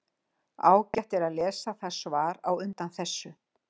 Ágætt er að lesa það svar á undan þessu.